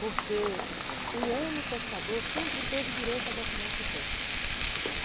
Porque o homem pescador sempre teve direito a documento de pesca.